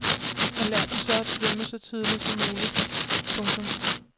Og lær dem så at svømme så tidligt som muligt. punktum